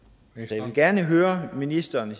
jeg vil gerne høre ministeren